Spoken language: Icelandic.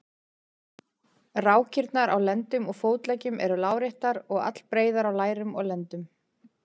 Rákirnar á á lendum og fótleggjum eru láréttar og allbreiðar á lærum og lendum.